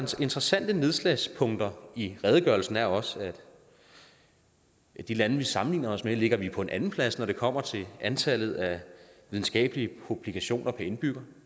interessante nedslagspunkter i redegørelsen er også at af de lande vi sammenligner os med ligger vi på en andenplads når det kommer til antallet af videnskabelige publikationer per indbygger